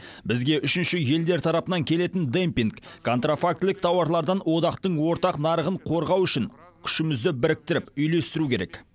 бізге үшінші елдер тарапынан келетін демпинг контрафактілік тауарлардан одақтың ортақ нарығын қорғау үшін күшімізді біріктіріп үйлестіру керек